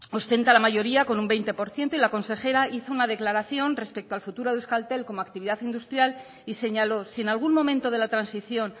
ostenta la mayoría con un veinte por ciento y la consejera hizo una declaración respecto al futuro de euskaltel como actividad industrial y señaló si en algún momento de la transición